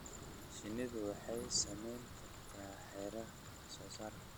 Shinnidu waxay saameyn kartaa heerarka wax soo saarka.